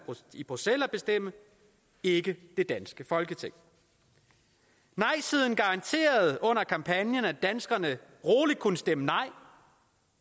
i bruxelles at bestemme ikke det danske folketing nejsiden garanterede under kampagnen at danskerne roligt kunne stemme nej